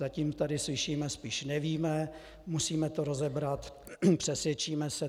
Zatím tady slyšíme spíš "nevíme, musíme to rozebrat, přesvědčíme se".